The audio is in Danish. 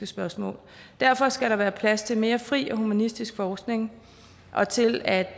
spørgsmål derfor skal der være plads til mere fri og humanistisk forskning og til at